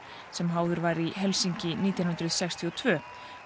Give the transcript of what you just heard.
sem háður var í Helsinki nítján hundruð sextíu og tvö